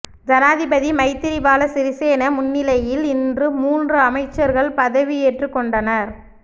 ஜனாதிபதி மைத்திரிபால சிறிசேன முன்னிலையில் இன்று மூன்று அமைச்சர்கள் பதவியேற்றுக் கொண்டனர்